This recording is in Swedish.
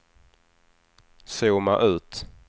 zooma ut